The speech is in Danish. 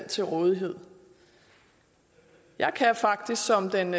til rådighed jeg kan faktisk som den